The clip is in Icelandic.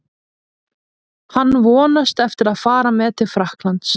Hann vonast eftir að fara með til Frakklands.